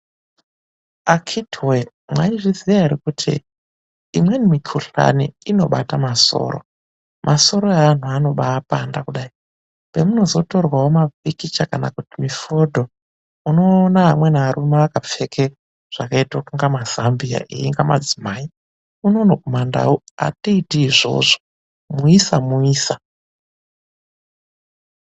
Akiti woye maizviziva kuti imweni mikuhlani inobata masoro, masoro evantu anobapanda pemunozotorwawo mapikicha kana kuti mifodho unoona amweni arume akapfeka zvakaite inga mazambiya engamadzimai unono kumandau atiiti izvozvo, muisa muisa .